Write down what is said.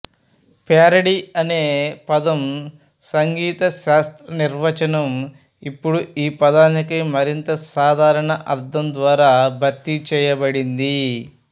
parody అనే పదం సంగీతశాస్త్ర నిర్వచనం ఇప్పుడు ఈ పదానికి మరింత సాధారణ అర్ధం ద్వారా భర్తీ చేయబడింది